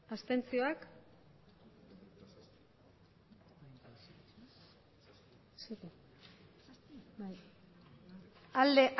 hamairu bai